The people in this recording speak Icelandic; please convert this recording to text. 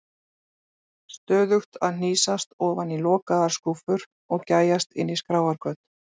Stöðugt að hnýsast ofan í lokaðar skúffur og gægjast inn í skráargöt.